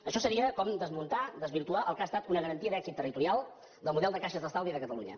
això seria com des·muntar desvirtuar el que ha estat una garantia d’èxit territorial del model de caixes d’estalvi de catalunya